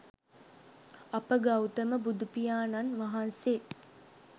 අප ගෞතම බුදුපියාණන් වහන්සේ